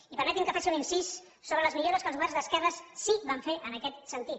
i permetin me que faci un incís sobre les millores que els governs d’esquerres sí que vam fer en aquest sentit